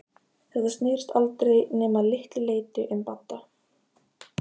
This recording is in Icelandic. Þetta snerist aldrei nema að litlu leyti um Badda.